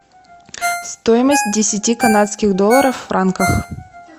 стоимость десяти канадских долларов в франках